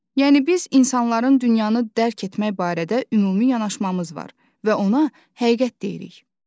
Yəni biz insanların dünyanı dərk etmək barədə ümumi yanaşmamız var və ona həqiqət deyirik.